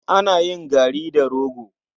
Ana yin gari da rogo.